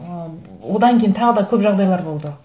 ы одан кейін тағы да көп жағдайлар болды